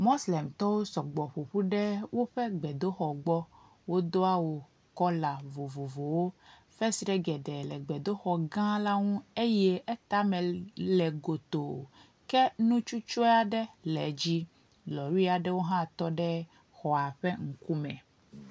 Moslemtɔwo sɔgbɔ ƒoƒu ɖe woƒe gbedoxɔ gbɔ, wodo awu kɔla vovovowo, fesre geɖe le gbedoxɔ gã la ŋu eye eta me le gotoo kɔ nu tsutsɔe aɖe le dzi. Lɔri aɖewo tɔ ɖe xɔa ƒe ŋkume.